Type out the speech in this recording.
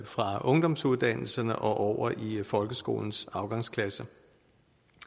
fra ungdomsuddannelserne og over i folkeskolens afgangsklasser